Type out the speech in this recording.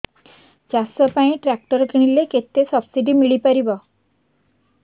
ଚାଷ ପାଇଁ ଟ୍ରାକ୍ଟର କିଣିଲେ କେତେ ସବ୍ସିଡି ମିଳିପାରିବ